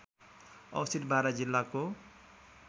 अवस्थित बारा जिल्लाको